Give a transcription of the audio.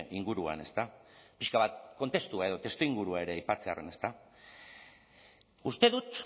inguruan ezta pixka bat kontestua edo testuingurua ere aipatzearren uste dut